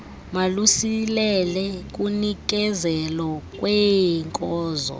malusilele kunikezelo lweenkozo